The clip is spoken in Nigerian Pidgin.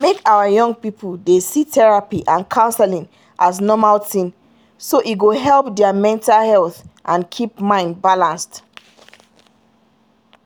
make our young people de see therapy and counseling as normal thing so e go help their mental health and keep mind balanced.